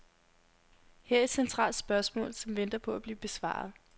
Her er et centralt spørgsmål, som venter på at blive besvaret.